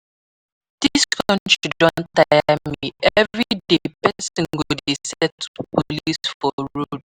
Dis country don tire me, everyday person go dey settle police for road